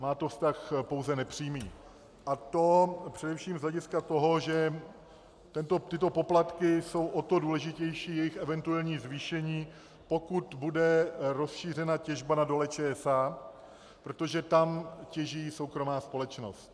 Má to vztah pouze nepřímý, a to především z hlediska toho, že tyto poplatky jsou o to důležitější, jejich eventuální zvýšení, pokud bude rozšířena těžba na Dole ČSA, protože tam těží soukromá společnost.